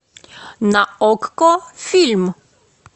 на окко фильм